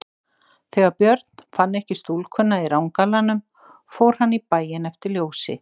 Þegar Björn fann ekki stúlkuna í rangalanum fór hann í bæinn eftir ljósi.